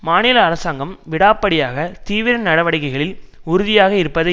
மாநில அரசாங்கம் விடாப்பிடியாக தீவிர நடவடிக்கைகளில் உறுதியாக இருப்பதை